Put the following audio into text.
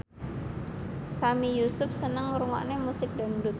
Sami Yusuf seneng ngrungokne musik dangdut